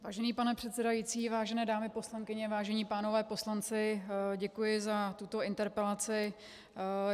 Vážený pane předsedající, vážené dámy poslankyně, vážení pánové poslanci, děkuji za tuto interpelaci.